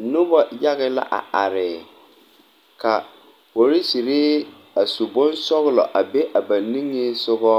Noba yaga la a are, ka polisiri a su bonsɔglɔ a be a ba niŋe sɔŋɔ